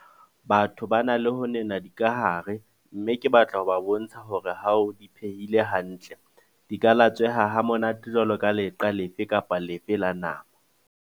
Batho ba na le ho nena dikahare mme ke batla ho ba bontsha hore ha o di phehile hantle, di ka latsweha ha monate jwaloka leqa lefe kapa lefe la nama.